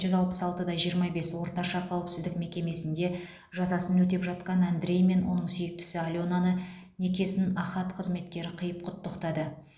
жүз алпыс алты да жиырма бес орташа қауіпсіздік мекемесінде жазасын өтеп жатқан андреймен оның сүйіктісі аленаны некесін ахат қызметкері қиып құттықтады